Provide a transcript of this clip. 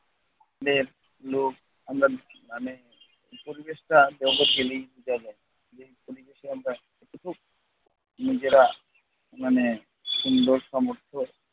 আমরা মানে পরিবেশটা যেই পরিবেশে আমরা নিজেরা মানে সুন্দর সমর্থ